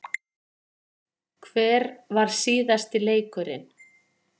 Hver var síðasti leikurinn?